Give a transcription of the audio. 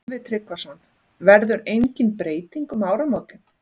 Sölvi Tryggvason: Verður engin breyting um áramótin?